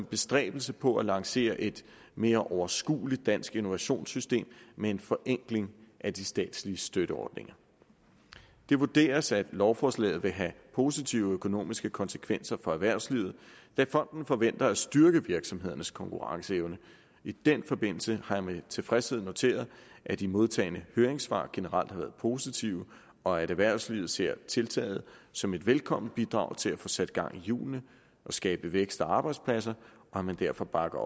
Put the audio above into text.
bestræbelse på at lancere et mere overskueligt dansk innovationssystem med en forenkling af de statslige støtteordninger det vurderes at lovforslaget vil have positive økonomiske konsekvenser for erhvervslivet da fonden forventer at styrke virksomhedernes konkurrenceevne i den forbindelse har jeg med tilfredshed noteret at de modtagne høringssvar generelt har været positive og at erhvervslivet ser tiltaget som et velkomment bidrag til at få sat gang i hjulene og skabe vækst og arbejdspladser og at man derfor bakker